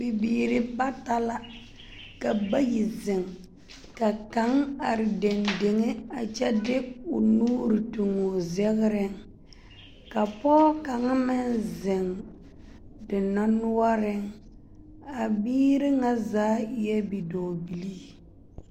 Bibiiri bata la ka bayi zeŋ ka kaŋa are dendeŋe a kyɛ de o nuuri toŋ o zegreŋ ka pɔge kaŋa meŋ zeŋ dendɔre noɔreŋ, a biiri ŋa zaa eɛ bidɔɔbilii.